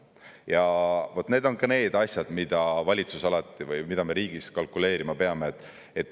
Ja vaat need on ka need asjad, mida me riigis peame või mida valitsus alati peab kalkuleerima.